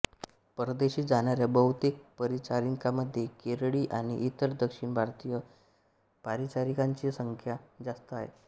परदेशी जाणाऱ्या बहुतेक परिचारिकांमध्ये केरळी आणि इतर दक्षिण भारतीय परिचारिकांची संख्या जास्त आहे